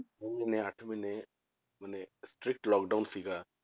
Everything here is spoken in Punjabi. ਛੇ ਮਹੀਨੇ ਅੱਠ ਮਹੀਨੇ ਮਨੇ stricted lockdown ਸੀਗਾ,